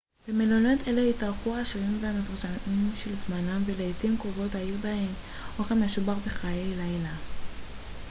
במלונות אלה התארחו העשירים והמפורסמים של זמנם ולעתים קרובות היו בהם אוכל משובח וחיי לילה